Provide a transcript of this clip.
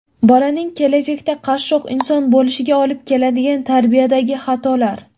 Bolaning kelajakda qashshoq inson bo‘lishiga olib keladigan tarbiyadagi xatolar.